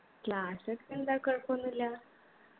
class ഒക്കെ എന്താ കൊഴപ്പോന്നുല്ലാ